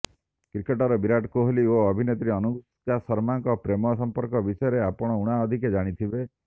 cricketer Virat Kohli ଓ ଅଭିନେତ୍ରୀ ଅନୁଷ୍କା ଶର୍ମାଙ୍କ ପ୍ରେମ ସମ୍ପର୍କ ବିଷୟରେ ଆପଣ ଉଣା ଅଧିକେ ଜାଣିଥିବେ